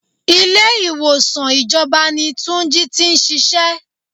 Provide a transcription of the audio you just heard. Ilé ìwòsàn ìjọba ni túnjí tí ń ṣíṣe.